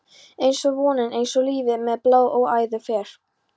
einsog vonin, einsog lífið- meðan blóð um æðar fer.